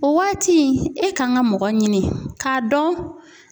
O waati e kan ka mɔgɔ ɲini ka dɔn